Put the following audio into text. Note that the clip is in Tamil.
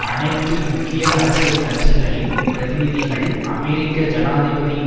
அனைத்து முக்கிய அரசியல் கட்சிகளின் பிரதிநிதிகள் அமெரிக்க ஜனாதிபதியின்